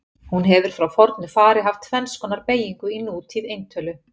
Hún hefur frá fornu fari haft tvenns konar beygingu í nútíð eintölu.